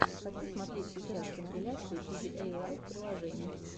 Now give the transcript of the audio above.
хочу смотреть сейчас компиляции пидиэйлайф приложений